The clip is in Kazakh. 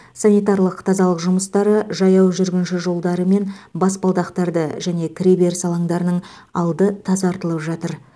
санитарлық тазалық жұмыстары жаяу жүргінші жолдары мен баспалдақтарды және кіреберіс алаңдарының алды тазартылып жатыр